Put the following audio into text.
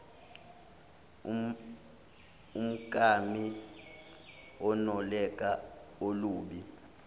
umkami unolaka olubi